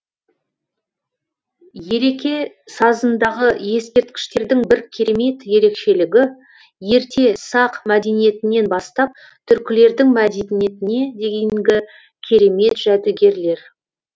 елеке сазындағы ескерткіштердің бір керемет ерекшелігі ерте сақ мәдениетінен бастап түркілердің мәдениетіне дейінгі керемет жәдігерлер